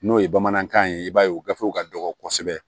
N'o ye bamanankan ye i b'a ye gafew ka dɔgɔ kosɛbɛ